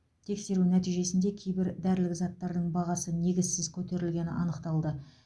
тексеру нәтижесінде кейбір дәрілік заттардың бағасы негізсіз көтерілгені анықталды